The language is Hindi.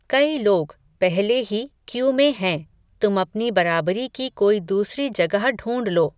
कई लोग, पहले ही क्यू में हैं, तुम अपनी बराबरी की कोई दूसरी जगह ढूंढ लो